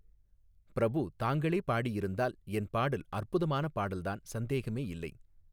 பிரபு தாங்களே பாடியிருந்தால் என் பாடல் அற்புதமான பாடல்தான் சந்தேகமே இல்லை.